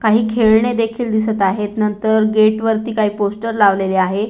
काही खेळणे देखील दिसत आहेत नंतर गेट वरती काही पोस्टर लावलेले आहेत.